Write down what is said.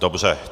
Dobře.